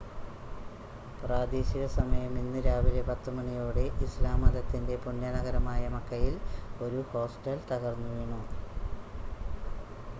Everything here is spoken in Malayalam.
പ്രാദേശിക സമയം ഇന്ന് രാവിലെ 10 മണിയോടെ ഇസ്‌ലാം മതത്തിൻ്റെ പുണ്യനഗരമായ മക്കയിൽ ഒരു ഹോസ്റ്റൽ തകർന്നുവീണു